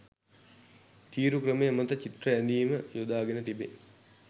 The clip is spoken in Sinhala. තීරු ක්‍රමය මත චිත්‍ර ඇඳීම යොදාගෙන තිබේ.